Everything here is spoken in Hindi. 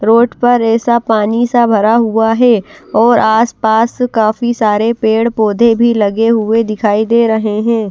रोड पर ऐसा पानी सा भरा हुआ है और आसपास काफी सारे पेड़-पौधे भी लगे हुए दिखाई दे रहे हैं।